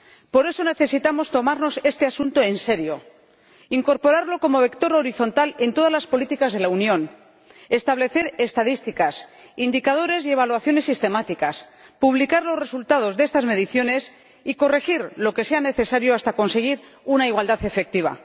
Por eso necesitamos tomarnos este asunto en serio, incorporarlo como vector horizontal en todas las políticas de la Unión, establecer estadísticas, indicadores y evaluaciones sistemáticas, publicar los resultados de estas mediciones y corregir lo que sea necesario hasta conseguir una igualdad efectiva.